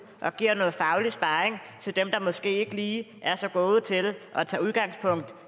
og giver noget faglig sparring til dem der måske ikke lige er så gode til at tage udgangspunkt